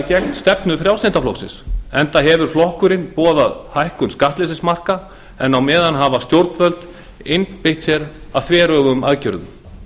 gegn stefnu frjálslynda flokksins enda hefur flokkurinn boðað hækkun skattleysismarka en á meðan hafa stjórnvöld einbeitt sér að þveröfugum aðgerðum